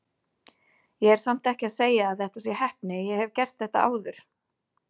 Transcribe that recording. Ég er samt ekki að segja að þetta sé heppni, ég hef gert þetta áður.